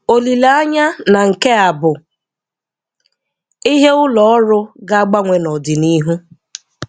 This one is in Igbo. Olileanya na nke a bụ ihe ụlọ ọrụ ga-agbanwe n'ọdịnihu.